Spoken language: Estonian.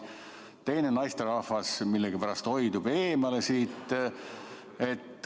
Teine naisterahvas millegipärast hoiab siit eemale.